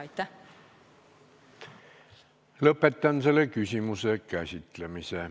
Lõpetan selle küsimuse käsitlemise.